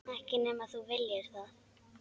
Ekki nema þú viljir það.